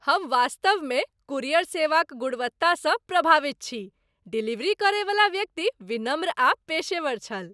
हम वास्तवमे कूरियर सेवाक गुणवत्तासँ प्रभावित छी। डिलीवरी करयवला व्यक्ति विनम्र आ पेशेवर छल।